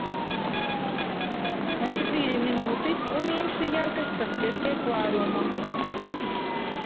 на четыре минуты уменьши яркость подсветки аквариума